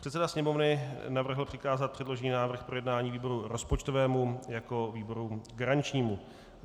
Předseda Sněmovny navrhl přikázat předložený návrh k projednání výboru rozpočtovému jako výboru garančnímu.